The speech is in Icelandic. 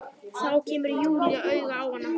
Þá kemur Júlía auga á hana.